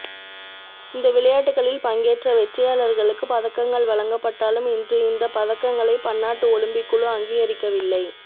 இந்த விளையாட்டுக்களில் பங்கேற்ற வெற்றியாளர்களுக்கு பதக்கங்கள் வழங்கப்பட்டாலும் இன்று இந்தப் பதக்கங்களை பன்னாட்டு ஒலிம்பிக் குழு அங்கீகரிக்கவில்லை